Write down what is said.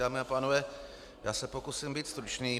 Dámy a pánové, já se pokusím být stručný.